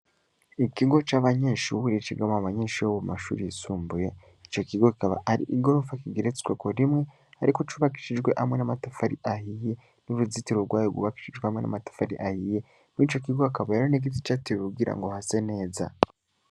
ikigo c,abanyeshure cigamwo abanyeshure bo mumashure yisumbuye ico kigo kikaba ari igorofa igeretsweko rimwe ariko c,ubakishijwe n,amatafari ahiye n,uruzitiro rwayo gubakishijwe n,amatafari ahiye kw,ico kigo hakabayo n,igiti cateweho kugira hase neza